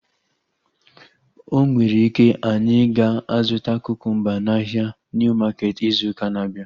O nwere ike, anyị ga-azụta kukumba n'ahia Niu maketi izu ụka na-abịa